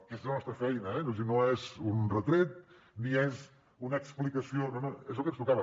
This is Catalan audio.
que és la nostra feina eh no és un retret ni és una explicació no no és el que ens tocava